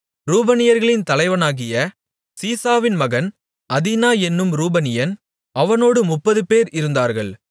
ரூபனியர்களின் தலைவனாகிய சீசாவின் மகன் அதினா என்னும் ரூபனியன் அவனோடு முப்பது பேர் இருந்தார்கள்